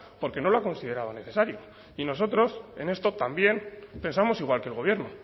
porque no lo ha considerado necesario y nosotros en esto también pensamos igual que el gobierno